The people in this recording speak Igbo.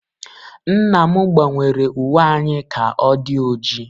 Nna m gbanwere uwe anyị ka ọ di oji